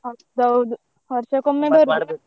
ಹೌದೌದು ವರ್ಷಕೊಮ್ಮೆ ಬರುದು .